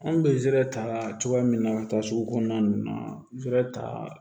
Anw bɛ zɛrɛ ta cogoya min na ka taa sugu kɔnɔna ninnu na ze ta